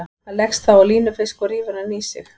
Hann leggst þá á línufisk og rífur hann í sig.